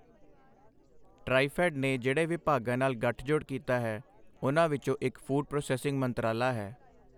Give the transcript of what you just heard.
ਟ੍ਰਾਈਫ਼ੈੱਡ ਨੇ ਜਿਹੜੇ ਵਿਭਾਗਾਂ ਨਾਲ ਗੱਠਜੋੜ ਕੀਤਾ ਹੈ, ਉਨ੍ਹਾਂ ਵਿੱਚੋਂ ਇੱਕ ਫ਼ੂਡ ਪ੍ਰੋਸੈਸਿੰਗ ਮੰਤਰਾਲਾ ਹੈ।